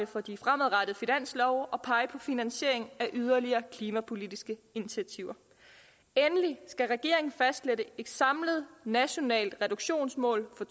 for de fremadrettede finanslove at pege på finansiering af yderligere klimapolitiske initiativer endelig skal regeringen fastlægge et samlet nationalt reduktionsmål for